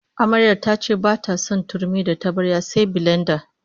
Amaryar ta ce bata son turmi da tabarya sai bilenda